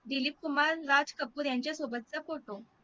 दिलीप कुमार राज कपूर यांच्यासोबत चा photo